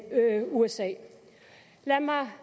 usa lad mig